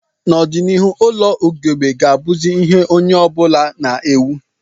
N'ọdịnihu ụlọ ugegbe ga-abụzi ihe onye ọ bụla na-ewu